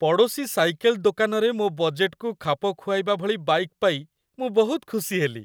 ପଡ଼ୋଶୀ ସାଇକେଲ୍ ଦୋକାନରେ ମୋ ବଜେଟ୍‌କୁ ଖାପ ଖୁଆଇବା ଭଳି ବାଇକ୍ ପାଇ ମୁଁ ବହୁତ ଖୁସି ହେଲି।